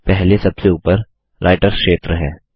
पहले सबसे ऊपर राइटर क्षेत्र है